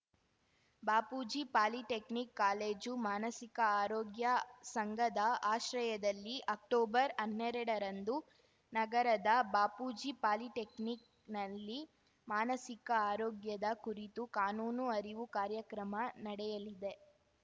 Bapuji polytechnic college ಮಾನಸಿಕ ಆರೋಗ್ಯ ಸಂಘದಆಶ್ರಯದಲ್ಲಿ ಅಕ್ಟೊಬರ್ಹನ್ನೆರಡ ರಂದು ನಗರದ ಬಾಪೂಜಿ ಪಾಲಿಟೆಕ್ನಿಕ್‌ನಲ್ಲಿ ಮಾನಸಿಕ ಆರೋಗ್ಯದ ಕುರಿತು ಕಾನೂನು ಅರಿವು ಕಾರ್ಯಕ್ರಮ ನಡೆಯಲಿದೆ